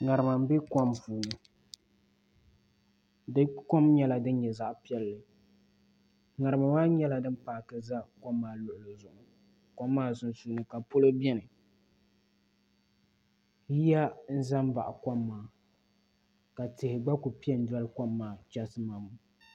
ŋarima n bɛ kom puuni di kom nyɛla din nyɛ zaɣ piɛlli ŋarima maa nyɛla din paaki ʒɛ kom maa luɣuli zuɣu kom maa sunsuuni ka polo biɛni yiya n ʒɛ n baɣa kom maa ka tihi gba ku piɛ n doli kom maa chɛsi mam